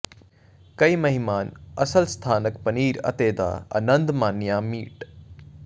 ਕਈ ਮਹਿਮਾਨ ਅਸਲ ਸਥਾਨਕ ਪਨੀਰ ਅਤੇ ਦਾ ਆਨੰਦ ਮਾਣਿਆ ਮੀਟ